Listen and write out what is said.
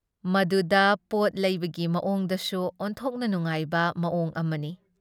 ꯃꯗꯨꯗ ꯄꯣꯠ ꯂꯩꯕꯒꯤ ꯃꯑꯣꯡꯗꯨꯁꯨ ꯑꯣꯟꯊꯣꯛꯅ ꯅꯨꯡꯉꯥꯏꯕ ꯃꯑꯣꯡ ꯑꯃꯅꯤ ꯫